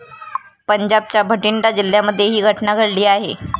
पंजाबच्या बठिंडा जिल्ह्यामध्ये ही घटना घडली आहे.